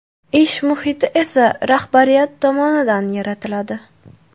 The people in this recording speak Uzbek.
Ish muhiti esa rahbariyat tomonidan yaratiladi .